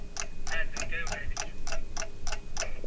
হ্যাঁ দুইটাই উঠাই দিবে শুনছি,